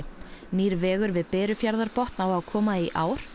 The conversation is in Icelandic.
nýr vegur við Berufjarðarbotn á að koma í ár